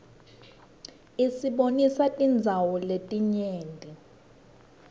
isibonisa tindzawo letinyenti